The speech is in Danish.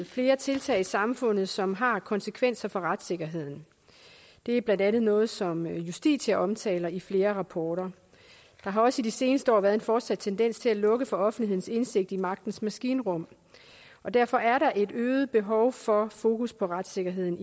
flere tiltag i samfundet som har konsekvenser for retssikkerheden det er blandt andet noget som justitia omtaler i flere rapporter der har også i de seneste år været en fortsat tendens til at lukke for offentlighedens indsigt i magtens maskinrum og derfor er der i et øget behov for fokus på retssikkerheden